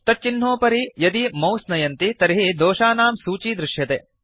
तच्चिह्नोपरि यदि मौस नयन्ति तर्हि दोषानां सूची दृश्यते